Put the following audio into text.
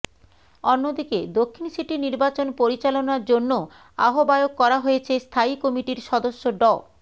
অন্যদিকে দক্ষিণ সিটি নির্বাচন পরিচালনার জন্য আহবায়ক করা হয়েছে স্থায়ী কমিটির সদস্য ড